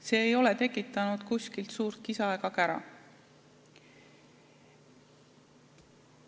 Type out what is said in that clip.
See ei ole kuskil suurt kisa ega kära tekitanud.